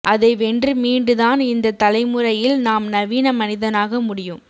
அதை வென்று மீண்டுதான் இந்தத் தலைமுறையில் நாம் நவீன மனிதனாக முடியும்